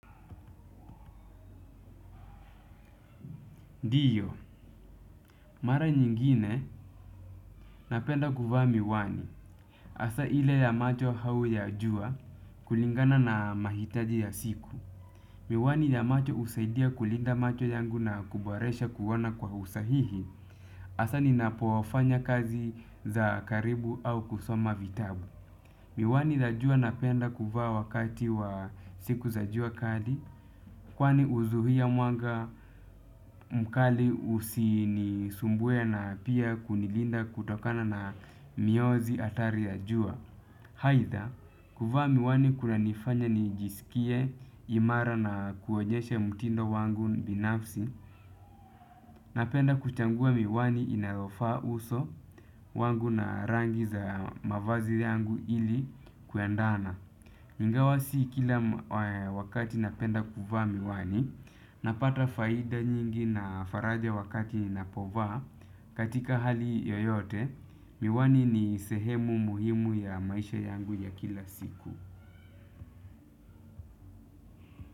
Ndiyo, mara nyingine napenda kuvaa miwani. Hasa ile ya macho au ya jua kulingana na mahitaji ya siku. Miwani ya macho husaidia kulinda macho yangu na kuboresha kuona kwa usahihi. Hasa ninapofanya kazi za karibu au kusoma vitabu. Miwani ya jua napenda kuvaa wakati wa siku za jua kali. Kwani huzuia mwanga mkali usinisumbue na pia kunilinda kutokana na mionzi hatari ya jua haidha, kuvaa miwani kunanifanya nijisikie imara na kuonyeshe mtindo wangu binafsi. Napenda kuchangua miwani inayofaa uso wangu na rangi za mavazi yangu ili kuendana ingawa si kila ma wakati napenda kuvaa miwani, napata faida nyingi na faraja wakati ninapovaa katika hali yoyote, miwani ni sehemu muhimu ya maisha yangu ya kila siku.